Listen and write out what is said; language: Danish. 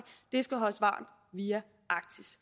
det skal holdes varmt via arktis